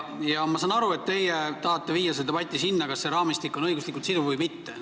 Ma saan aru, et te tahate viia seda debatti selle peale, kas see raamistik on õiguslikult siduv või mitte.